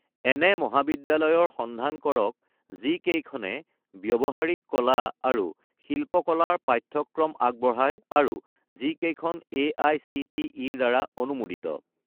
এনে মহাবিদ্যালয়ৰ সন্ধান কৰক যিকেইখনে ব্যৱহাৰিক কলা আৰু শিল্পকলা ৰ পাঠ্যক্ৰম আগবঢ়ায় আৰু যিকেইখন এআইচিটিই-ৰ দ্বাৰা অনুমোদিত